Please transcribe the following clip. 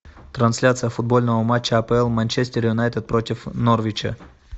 трансляция футбольного матча апл манчестер юнайтед против норвича